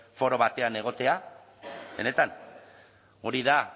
foro batean egotea benetan hori da